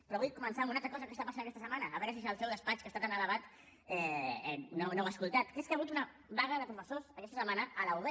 però vull comentar una altra cosa que està passant aquesta setmana a veure si des del seu despatx que està tan elevat no ho ha escoltat que és que hi ha hagut una vaga de professors aquesta setmana a la ub